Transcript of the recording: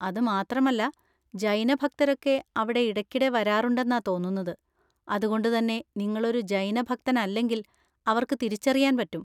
അത് മാത്രമല്ല ജൈന ഭക്തരൊക്കെ അവിടെ ഇടയ്ക്കിടെ വരാറുണ്ടെന്നാ തോന്നുന്നത്, അത്കൊണ്ട് തന്നെ നിങ്ങളൊരു ജൈന ഭക്തനല്ലെങ്കിൽ അവർക്ക് തിരിച്ചറിയാൻ പറ്റും.